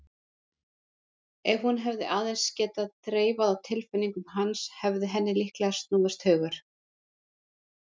Ef hún hefði aðeins getað þreifað á tilfinningum hans hefði henni líklega snúist hugur.